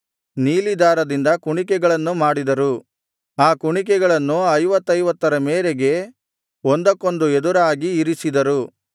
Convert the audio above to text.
ನೀಲಿ ದಾರದಿಂದ ಕುಣಿಕೆಗಳನ್ನು ಮಾಡಿದರು ಆ ಕುಣಿಕೆಗಳನ್ನು ಐವತ್ತೈವತ್ತರ ಮೇರೆಗೆ ಒಂದಕ್ಕೊಂದು ಎದುರಾಗಿ ಇರಿಸಿದರು